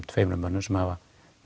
tveimur mönnum sem hafa